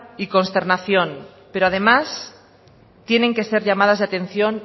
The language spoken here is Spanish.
y consternación pero además tienen que ser llamadas de atención